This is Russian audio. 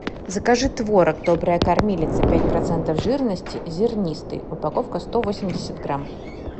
закажи творог добрая кормилица пять процентов жирности зернистый упаковка сто восемьдесят грамм